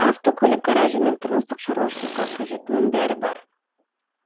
автокөлік гаражы мен тұрмыстық шаруашылыққа қажеттінің бәрі бар